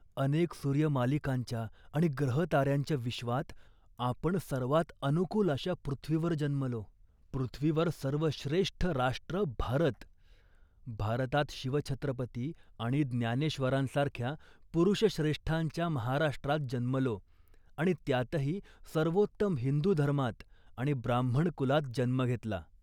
अनेक सूर्यमालिकांच्या आणि ग्रहताऱ्यांच्या विश्वात आपण सर्वांत अनुकूल अशा पृथ्वीवर जन्मलो, पृथ्वीवर सर्वश्रेष्ठ राष्ट्र भारत. भारतात शिवछत्रपती आणि ज्ञानेश्वरांसारख्या पुरुषश्रेष्ठांच्या महाराष्ट्रात जन्मलो आणि त्यातही सर्वोत्तम हिंदू धर्मात आणि ब्राह्मण कुलात जन्म घेतला